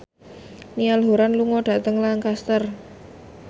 Niall Horran lunga dhateng Lancaster